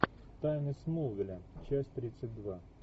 тайны смолвиля часть тридцать два